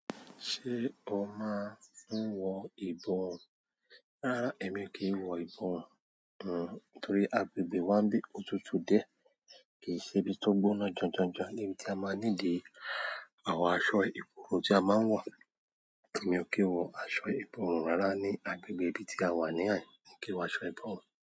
Ṣé o máa ń wọ́ iborun? Rárá èmi kì í wọ ìbọrun nítorí agbègbè wa ń bí ò tútù dié, kìí ṣe ibi tó gbóná janjanjan. Nibi ti a máa ń níidi àwọn aṣọ ìbọrun tí a máa ń wọ̀, ẹmi ò kí ń wọ aṣọ ìbọrun rárá ní agbègbè ibi tí a wà níha in mi kí i wọ aṣọ ìbọrun.